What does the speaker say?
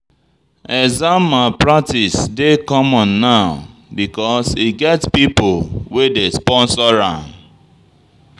Exam malpractice dey common now because e get pipo wey dey sponsor am.